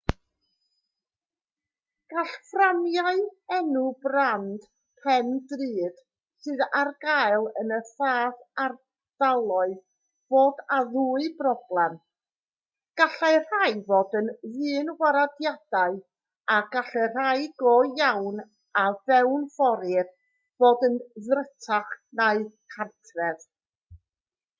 gall fframiau enw brand pen drud sydd ar gael yn y fath ardaloedd fod â dwy broblem gallai rhai fod yn ddynwarediadau a gall y rhai go iawn a fewnforir fod yn ddrutach na gartref